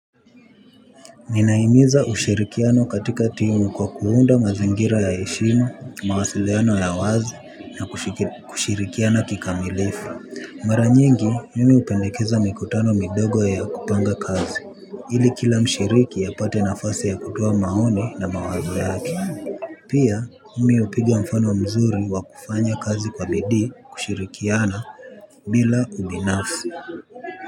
Ninahimiza ushirikiano katika timu kwa kuunda mazingira ya heshima, mawasiliano ya wazi, na kushirikiana kikamilifu. Mara nyingi, mimi hupendekeza mikutano midogo ya kupanga kazi. Ili kila mshiriki apate nafasi ya kutoa maoni na mawazo yake. Pia, mimi hupiga mfano mzuri wa kufanya kazi kwa bidi kushirikiana. Bila ubinafsi.